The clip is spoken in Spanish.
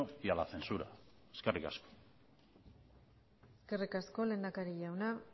y a la censura eskerrik asko eskerrik asko lehendakari jauna